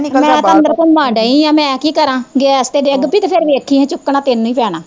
ਮੈਂ ਤੇ ਅੰਦਰ ਘੁਮਣ ਡਈ ਆ, ਹੁਣ ਮੈਂ ਕੀ ਕਰਾ, ਗੈਸ ਤੇ ਡਿੱਗ ਪਈ ਤੇ ਵੇਖੀ ਜਾਈ ਫਿਰ ਚੁੱਕਣਾ ਤੇਨੂੰ ਈ ਪੈਣਾ